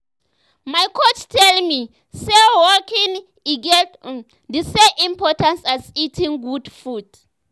my coach tell me say walking e get um the same importance as eating good food.